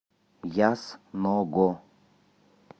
ясного